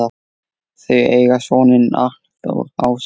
Þau eiga soninn Arnþór Ása.